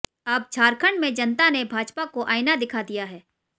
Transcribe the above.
अब झारखंड में जनता ने भाजपा को आईना दिखा दिया है